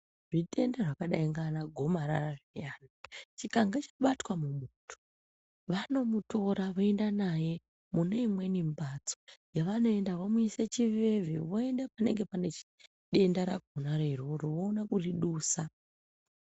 Zvitenda zvakadai ngana gomarara zviyani chikange chabatwa mumuntu vanomutora voenda naye mune imweni mbatso yavanoenda vomuise chiveve voende panenge pane denda rakonaro iroro voona kuridusa.